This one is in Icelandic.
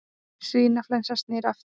Svínaflensan snýr aftur